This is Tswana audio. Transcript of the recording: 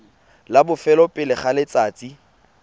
la bofelo pele ga letsatsi